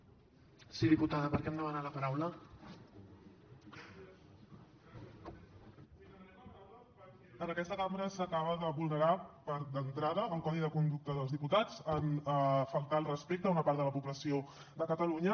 sí demanem la paraula perquè en aquesta cambra s’acaba de vulnerar d’entrada el codi de conducta dels diputats en faltar al respecte a una part de la població de catalunya